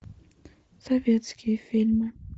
советские фильмы